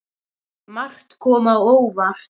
Margt kom á óvart.